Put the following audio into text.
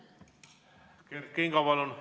Kert Kingo, palun!